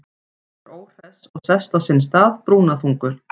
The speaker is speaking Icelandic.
Hann er óhress og sest á sinn stað, brúnaþungur.